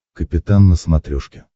капитан на смотрешке